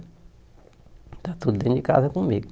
Está tudo dentro de casa comigo.